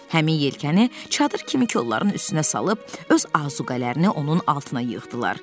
Həmin yelkəni çadır kimi kolları üstünə salıb, öz azuqələrini onun altına yığdılar.